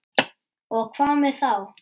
Og hvað með þá?